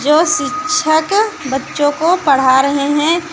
जो शिक्षक बच्चों को पढ़ा रहे हैं।